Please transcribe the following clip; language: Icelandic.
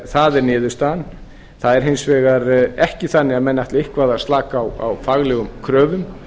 það er niðurstaðan það er hins vegar ekki þannig að menn ætli eitthvað að slaka á faglegum kröfum